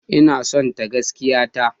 Ina sonta gaskiya ta.